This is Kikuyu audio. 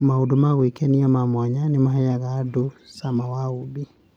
Maũndũ ma gwĩkenia ma mwanya nĩ maheaga andũ cama wa ũũmbi.